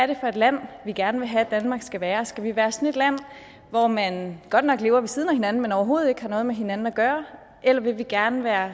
det for et land vi gerne vil have danmark skal være skal vi være sådan et land hvor man godt nok lever ved siden af hinanden men overhovedet ikke har noget med hinanden at gøre eller vil vi gerne være